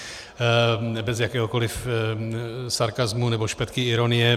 Bez jakéhokoliv sarkasmu nebo špetky ironie.